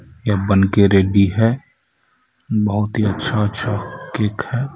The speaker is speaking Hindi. यह बनके रेडी है बहुत ही अच्छा अच्छा केक है.